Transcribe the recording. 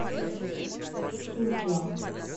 суджа